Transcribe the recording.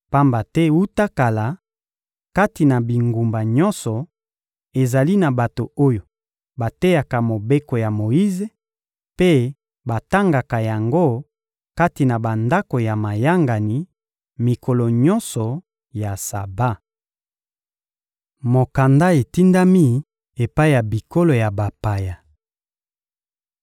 Pamba te wuta kala, kati na bingumba nyonso, ezali na bato oyo bateyaka Mobeko ya Moyize, mpe batangaka yango kati na bandako ya mayangani, mikolo nyonso ya Saba. Mokanda etindami epai ya bikolo ya bapaya